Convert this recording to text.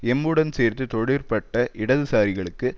எம்முடன் சேர்ந்து தொழிற்பட்ட இடது சாரிகளுக்கு